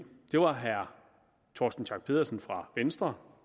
det var herre torsten schack pedersen fra venstre